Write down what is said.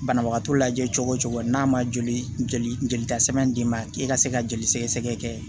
Banabagatɔ lajɛ cogo cogo n'a ma joli jolita sɛbɛn d'i ma k'i ka se ka joli sɛgɛsɛgɛ kɛ